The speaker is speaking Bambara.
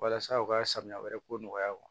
Walasa u ka sanuya wɛrɛ ko nɔgɔya